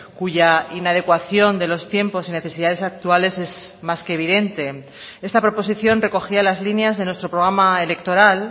cuya inadecuación de los tiempos y necesidades actuales es más que evidente esta proposición recogía las líneas de nuestro programa electoral